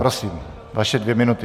Prosím, vaše dvě minuty.